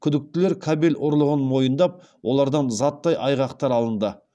күдіктілер кабель ұрлығын мойындап олардан заттай айғақтар алынды